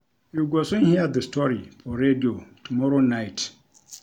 You go soon hear the story for radio tomorrow night